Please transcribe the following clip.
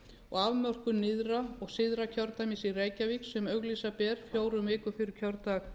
og afmörkun nyrðra og syðra kjördæmis í reykjavík sem auglýsa ber fjórum vikum fyrir kjördag